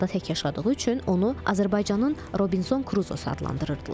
Adada tək yaşadığı üçün onu Azərbaycanın Robinson Kruzosu adlandırırdılar.